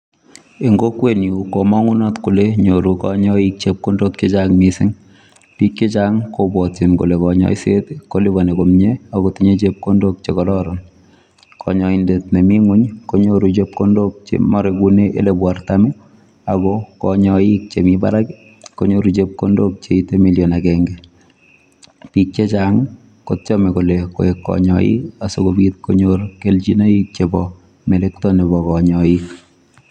Eng kokwet nyuun komangunaat kole nyoruu kanyaik chepkondook che chaang missing biik che chaang kobwatyiin kole kanyaiseet koluoani komyei ak kotinyei chepkondook che kororon konyoindet nemii kweeny konyooru chepkondook chemareguneen elibut artaam ii ako kwanyiik chemii Barak ii konyoruu chepkondook cheite million agengee biik che chaang ii kotyemei kole kanyaik asikobiit konyoor keljinaik chebo melektoi nebo kanyaik.